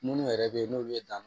Munnu yɛrɛ be yen n'o ye dan